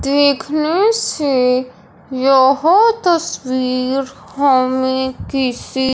देखने से यह तस्वीर हमें किसी--